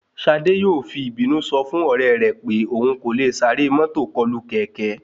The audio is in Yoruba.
Ṣadé yóò fi ìbínú sọ fún ọ̀rẹ́ rẹ̀ pé òhun kò le sáré mọ́tò kọlù kẹ̀kẹ́